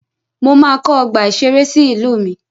Mo máa kọ́ ọgbà ìṣẹré sí ìlú mi.